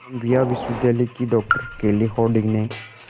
Colombia विश्वविद्यालय की doctor Kelly Harding ने